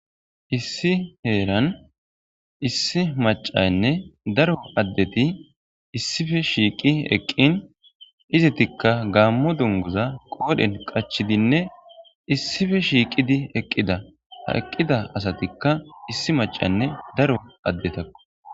issi heeran issi macaynne daro addeti issife shiiqi eqqin izitikka gaammo dungoza qoodhen qachidinne issife shiiqidi eqqida haeqqida asatikka issi macanne daro addetakko